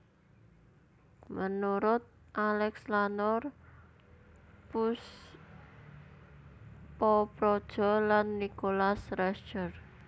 Menurut Alex Lanur Poespoprodjo lan Nicholas Rescher